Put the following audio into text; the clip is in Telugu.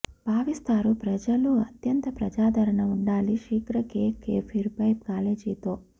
భావిస్తారు ప్రజలు అత్యంత ప్రజాదరణ ఉండాలి శీఘ్ర కేక్ కేఫీర్ పై కాబేజీ తో